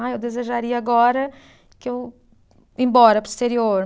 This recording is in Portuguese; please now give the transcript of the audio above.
Ah, eu desejaria agora que eu, ir embora para o exterior.